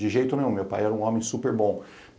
De jeito nenhum, meu pai era um homem super bom.